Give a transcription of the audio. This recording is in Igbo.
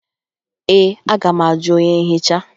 Ee, aga m ajụ onye nhicha